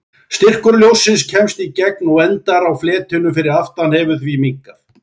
Styrkur ljóssins sem kemst í gegn og endar á fletinum fyrir aftan hefur því minnkað.